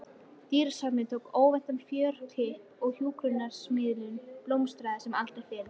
Dýrasafnið tók óvæntan fjörkipp og hjúskaparmiðlunin blómstraði sem aldrei fyrr.